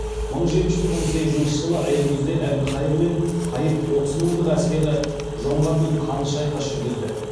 мың жеті жүз он сегізінші жылы аякөзде әбілқайыр мен қайып отыз мыңдық әскері жоңғарлармен қанды шайқас жүргізді